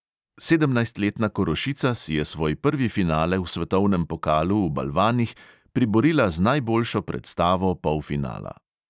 Sedemnajstletna korošica si je svoj prvi finale v svetovnem pokalu v balvanih priborila z najboljšo predstavo polfinala.